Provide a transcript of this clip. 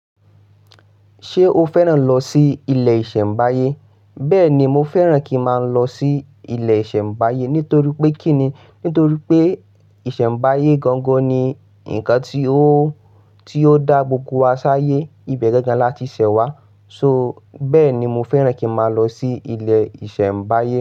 Ṣé o fẹ́ràn lọ sí ilé ìṣẹ̀mbáyé? Bẹ́ẹ̀ ni, mo fẹ́ràn kí má lọ sí ilé ìṣẹ̀mbáyé nítorí pé kí ni? Nítorí pé ìṣẹ̀mbáyé gangan ni nǹkan tí ó, tí ó dá gbogbo wa sáyé. Ibẹ̀ gangan la ti ṣẹ̀ wá. So bẹ́ẹ̀ ni mo fẹ́ràn kí má lọ sí ilé ìṣẹ̀mbáyé.